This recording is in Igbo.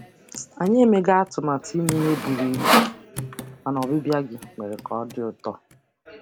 Anyị emeghị atụmatụ ime ihe buru ibu, mana ọbịbịa gị mere ka ọ dị ụtọ.